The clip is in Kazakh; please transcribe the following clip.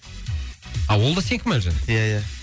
а ол да сенікі ма әлжан ия ия